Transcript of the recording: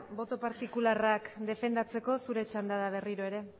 boto partikularrak defendatzeko zure txanda da berriro ere